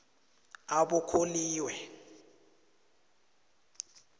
abokholiwe